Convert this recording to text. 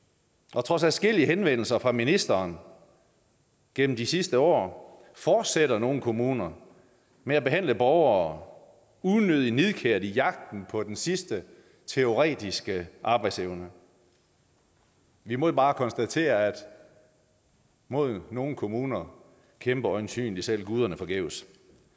og trods adskillige henvendelser fra ministeren gennem de sidste år fortsætter nogle kommuner med at behandle borgere unødig nidkært i jagten på den sidste teoretiske arbejdsevne vi må jo bare konstatere at mod nogle kommuner kæmper øjensynlig selv guderne forgæves